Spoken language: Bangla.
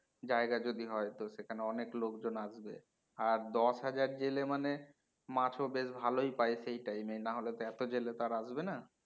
জায়গা যদি হয় তো সেখানে অনেক লোকজন আসবে আর দশ হাজার জেলে মানে মাছও বেশ ভালোই পাই সেই time এ না হলে তো এতো জেলে তো আর আসবে না